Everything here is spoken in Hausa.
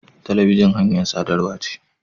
Talabijin hanyar sadarwa ce.